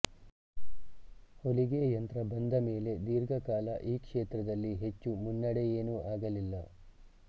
ಹೊಲಿಗೆ ಯಂತ್ರ ಬಂದ ಮೇಲೆ ದೀರ್ಘಕಾಲ ಈ ಕ್ಷೇತ್ರದಲ್ಲಿ ಹೆಚ್ಚು ಮುನ್ನಡೆಯೇನೂ ಆಗಲಿಲ್ಲ